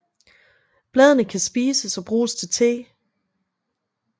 Bladene kan spises og bruges til te